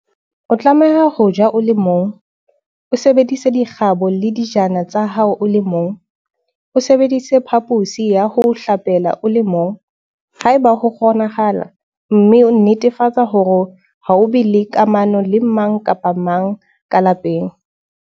O tlameha ho ja o le mong, o sebedise dikgaba le dijana tsa hao o le mong, o sebedise phaphosi ya ho hlapela o le mong, haeba ho kgonahala, mme o netefatse hore ha o be le kamano le mang kapa mang ka lapeng.